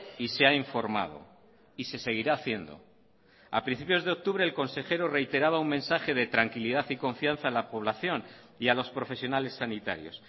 y se ha informado y se seguirá haciendo a principios de octubre el consejero reiteraba un mensaje de tranquilidad y confianza en la población y a los profesionales sanitarios